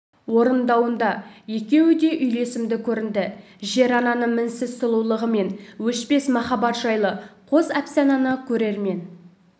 орындауында екеуі де үйлесімді көрінді жер-ананың мінсіз сұлулығы мен өшпес махаббат жайлы қос әпсананы көрермен